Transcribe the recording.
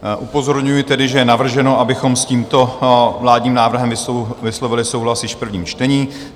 Upozorňuji tedy, že je navrženo, abychom s tímto vládním návrhem vyslovili souhlas již v prvním čtení.